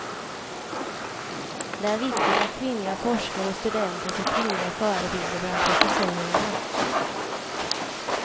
Det är viktigt att kvinnliga forskare och studenter får kvinnliga förebilder bland professorerna.